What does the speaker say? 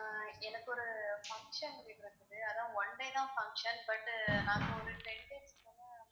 ஆஹ் எனக்கு ஒரு function one day தான் function, but நாங்க ஒரு ten days க்கு மேல